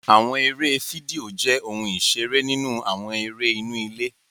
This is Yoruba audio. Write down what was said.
Àwọn eré fídíò jé òun iṣere nínú àwọn eré inú ilé